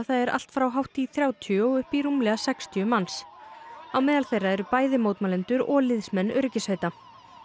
eru allt frá hátt í þrjátíu og upp í rúmlega sextíu á meðal þeirra eru bæði mótmælendur og liðsmenn öryggissveita